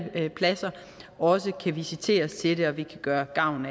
pladser også kan visiteres til at vi kan gøre gavn